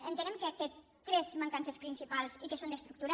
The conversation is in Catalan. entenem que té tres mancances principals i que són d’estructura